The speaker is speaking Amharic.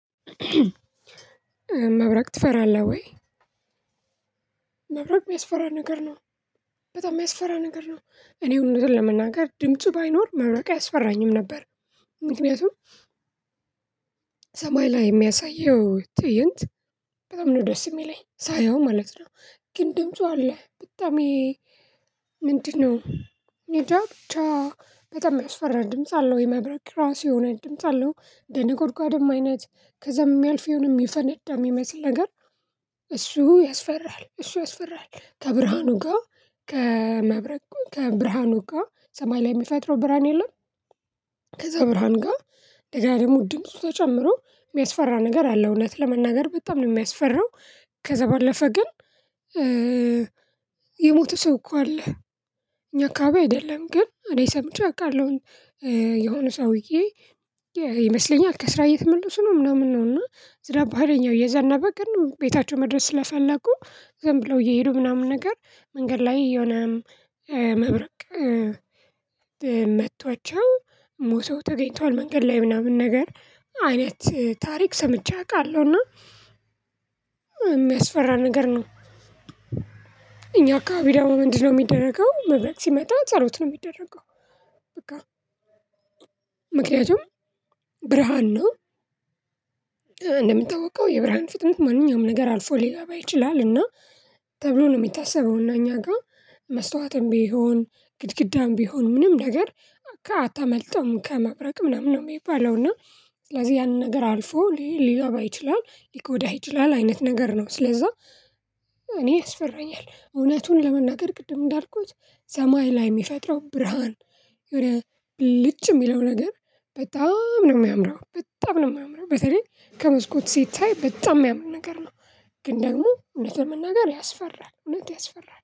መብረቅ ትፈራለህ ወይ? መብረቅ የሚያስፈራ ነገር ነው። በጣም የሚያስፈራ ነገር ነው። እኔ ሁሉንም ለመናገር ድምፁ ባይኖር መብረቅ አያስፈራኝም ነበር። ምክንያቱም ሰማይ ላይ የሚያሳየው ትእይንት በጣም ነው ደስ የሚለኝ ሳየው ማለት ነው። ግን ድምፁ አለ በጣም ይሄ ምንድነው? እኔ እንጃ ብቻ በጣም የሚያስፈራ ድምጽ አለው የመብራቅ ራሱ የሆነ ድምጽ አለው። የነጎድጓድም አይነት ከዛም የሚያልፍ ይሁንም ይፈነዳል የሚመስል ነገር እሱ ያስፈራል እሱ ያስፈራል። ከብርሃኑ ጋር ከመብረቁ ከብርሃኑ ጋር ሰማይ ላይ የሚፈጥረው ብርሃን የለም። ከዛ ብርሃን ጋር ደጋዴሙ ድምጽ ተጨምሮ የሚያስፈራ ነገር አለ እውነት ለመናገር በጣም ነው የሚያስፈራው። ከዛ ባለፈ ግን የሞተ ሰው እኮ አለ። እኛ አካባቢ አይደለም ግን እኔ ሰምቼ አውቃለሁ። የሆነ ሰውዬ ይመስለኛል ከስራ እየተመለሱ ነው ምናምን ነው እና ዝራ አለኛው የዘና በገን ቤታቸው መድረስ ስለፈለጉ ዝም ብለው እየሄዱ ምናምን ነገር መንገድ ላይ የሆነ መብረቅ መቷቸው ሞሰው ተገኝተዋል። መንገድ ላይ ምናምን ነገር አይነት ታሪክ ሰምቼ አውቃለሁ እና የሚያስፈራ ነገር ነው። እኛ አካባቢ ደግሞ ምንድነው? የሚደረገው መብረት ሲመጣ ጸሎት ነው የሚደረገው። በቃ ምክንያቱም ብርሃን ነው። እንደምታውቀው የብርሃን ፍጥነት ማንኛውም ነገር አልፎ ሊገባ ይችላል። እና ተብሎ ነው የሚታሰበው እና እኛ ጋር መስታወትም ቢሆን ግድግዳም ቢሆን ምንም ነገር አታመልጠውም። ከመብረቅ ምናምን ነው የሚባለው እና ስለዚህ ያንን ነገር አልፎ ሊገባ ይችላል ሊጎዳ ይችላል አይነት ነገር ነው። ስለዛ እኔ ያስፈራኛል። እውነቱን ለመናገር ቅድም እንዳልኩት ሰማይ ላይ የሚፈጥረው ብርሃን የሆነ ብልጭ የሚለው ነገር በጣም ነው የሚያምረው በጣም ነው የሚያምረው በተለይ ከመስኮት ሲታይ በጣም የሚያምር ነገር ነው። ግን ደግሞ እውነትን መናገር ያስፈራል እውነት ያስፈራል